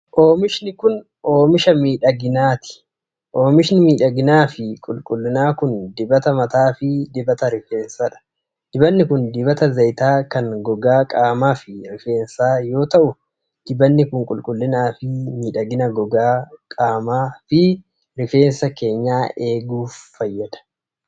Oomishni kun, oomisha miidhaginaa dha. Oomishni miidhaginaa fi qulqullinaa kun dibata mataa fi dibata rifeensaa dha. Dibanni kun dibata zayitaa kan gogaa qaamaa fi rifeensaa yoo ta'u, dibanni kun qulqullina fi miidhagina gogaa qaamaa fi rifeensaa eeguuf faayyada.